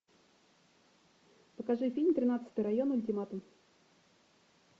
покажи фильм тринадцатый район ультиматум